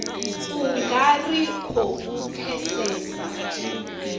u nga ri khou pfesesa